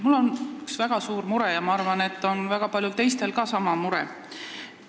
Mul on üks väga suur mure ja ma arvan, et ka väga paljudel teistel on sama mure.